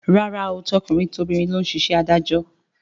Rárá o, tọkùnrin tobìnrin ló ń ṣe iṣẹ́ adájọ́